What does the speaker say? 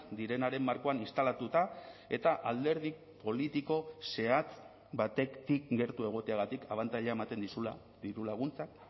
direnaren markoan instalatuta eta alderdi politiko zehatz batetik gertu egoteagatik abantaila ematen dizula dirulaguntzak